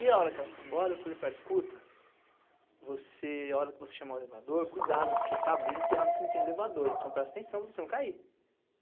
E a hora que ela foi embora, eu falei para ela, escuta, você, a hora que você chamar o elevador, cuidado porque tá abrindo, tem hora que não tem elevador, então presta atenção para você não cair.